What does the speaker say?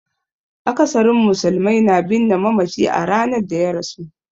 Akasarin musulmai na binne mamaci a ranar da ya rasu.